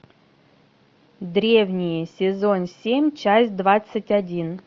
древние сезон семь часть двадцать один